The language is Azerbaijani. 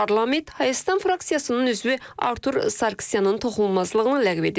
Parlament Hayastan fraksiyasının üzvü Artur Sarkisyanın toxunulmazlığını ləğv edib.